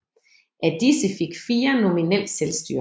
Af disse fik fire nominelt selvstyre